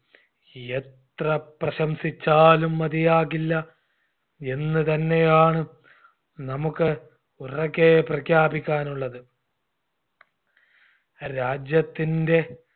യെത്ര പ്രശംസിച്ചാലും മതിയാകില്ല എന്ന് തന്നെയാണ് നമ്മുക്ക് ഉറക്കേ പ്രഖ്യാപിക്കാനുള്ളത് രാജ്യത്തിൻറെ